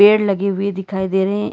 पेड़ लगे हुए दिखाई दे रहे हैं।